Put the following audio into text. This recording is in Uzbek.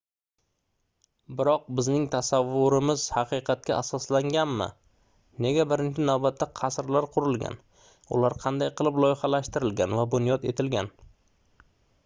biroq bizning tasavvurimiz haqiqatga asoslanganmi nega birinchi navbatda qasrlar qurilgan ular qanday qilib loyihalashtirilgan va bunyod etilgan